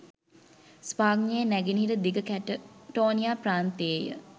ස්පාඤ්ඤයේ නැගෙනහිර දිග කැටටෝනියා ප්‍රාන්තයේය